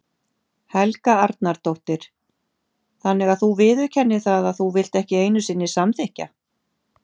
Helga Arnardóttir: Þannig að þú viðurkennir það að þú vilt ekki einu sinni samþykkja?